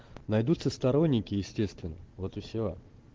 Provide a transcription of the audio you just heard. найдутся сторонники естественно вот и всё